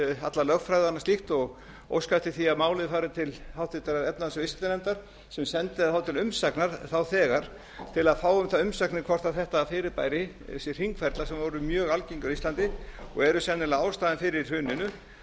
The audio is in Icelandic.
alla lögfræði og annað slíkt og óska eftir því að málið fari til háttvirtrar efnahags og viðskiptanefndar sem sendi það þá til umsagnar þá þegar til að fá um það umsagnir hvort þetta fyrirbæri þessir hringferla sem voru mjög algengir á íslandi og eru sennilega ástæðan fyrir hruninu hvort hægt sé